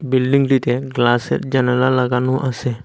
বিল্ডিংটিতে গ্লাসের জানালা লাগানো আসে।